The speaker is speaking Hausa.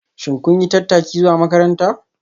Shin kun yi tattaki zuwa makaranta?